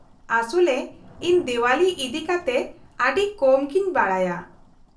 -ᱟᱥᱚᱞᱨᱮ, ᱤᱧ ᱫᱮᱣᱟᱞᱤ ᱤᱫᱤᱠᱟᱛᱮ ᱟᱹᱰᱤ ᱠᱚᱢ ᱜᱤᱧ ᱵᱟᱰᱟᱭᱟ ᱾